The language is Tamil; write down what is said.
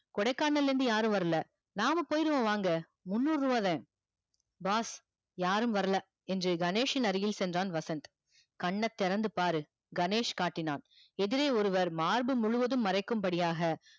கொடைக்கானல் ல இருந்து யாரும் வரல நாம போயிருவோம் வாங்க முண்ணுருவாத boss யாரும் வர்ல என்று கணேஷ் யின் அருகில் சென்றான் வசந்த் கண்ணா திறந்து பாரு கணேஷ் காட்டினான் எதிரே ஒருவர் மார்பு முழுதும் மறைக்கும் படியாக